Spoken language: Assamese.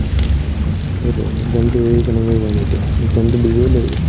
সেইতোয়ে, exam তো এৰি কেনেকে যাম এতিয়া exam তো দিবই লাগিব